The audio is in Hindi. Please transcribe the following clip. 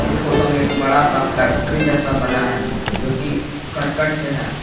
इस फोटो में एक बड़ा सा फैक्ट्री जैसा बना है जो की करकट से है।